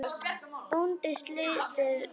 Bóndinn sletti í góm.